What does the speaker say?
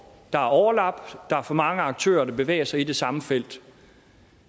der er overlap og der er for mange aktører der bevæger sig i det samme felt